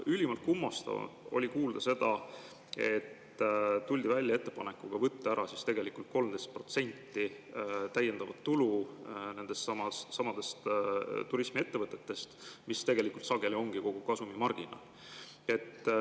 Ülimalt kummastav oli kuulda seda, et tuldi välja ettepanekuga võtta nendeltsamadelt turismiettevõtetelt ära tegelikult 13% täiendavat tulu, mis tegelikult sageli ongi kogu kasumimarginaal.